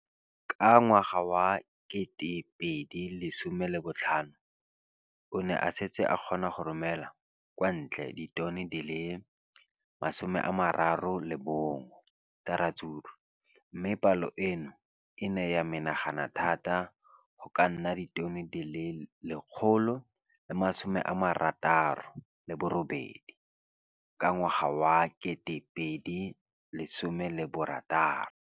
Ka ngwaga wa 2015, o ne a setse a kgona go romela kwa ntle ditone di le 31 tsa ratsuru mme palo eno e ne ya menagana thata go ka nna ditone di le 168 ka ngwaga wa 2016.